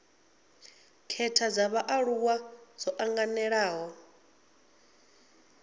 khetha dza vhaaluwa dzo anganelaho